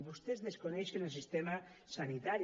vostès desconeixen el sistema sanitari